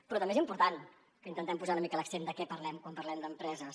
però també és important que intentem posar una mica l’accent de què parlem quan parlem d’empreses